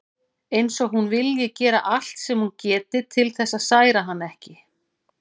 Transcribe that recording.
Eins og hún vilji gera allt sem hún geti til þess að særa hann ekki.